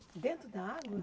Dentro da água?